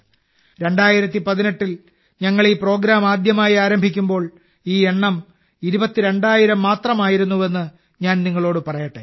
2018 ൽ ഞങ്ങൾ ഈ പ്രോഗ്രാം ആദ്യമായി ആരംഭിക്കുമ്പോൾ ഈ എണ്ണം 22000 മാത്രമായിരുന്നുവെന്ന് ഞാൻ നിങ്ങളോട് പറയട്ടെ